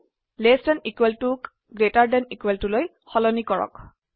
less than equal টুক greater than equal to লৈ সলনি কৰক